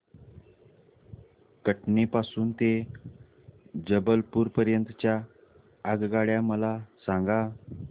कटनी पासून ते जबलपूर पर्यंत च्या आगगाड्या मला सांगा